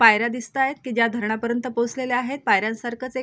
पायऱ्या दिसतायेत की ज्या धरण पर्यन्त पोहचलेल्या आहेत पायऱ्यांसारखच एक --